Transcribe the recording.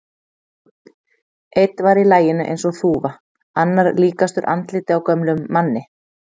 Einn var í laginu eins og þúfa, annar líkastur andliti á gömlum manni.